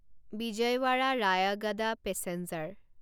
Vijayawada Rayagada passenger